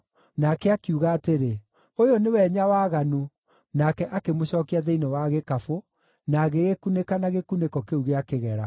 Nake akiuga atĩrĩ, “Ũyũ nĩwe Nyawaganu,” nake akĩmũcookia thĩinĩ wa gĩkabũ na agĩgĩkunĩka na gĩkunĩko kĩu gĩa kĩgera.